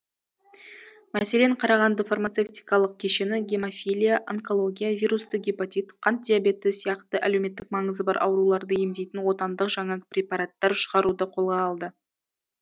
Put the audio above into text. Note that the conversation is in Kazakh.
мәселен қарағанды фармацевтикалық кешені гемофилия онкология вирусты гепатит қант диабеті сияқты әлеуметтік маңызы бар ауруларды емдейтін отандық жаңа препараттар шығаруды қолға алды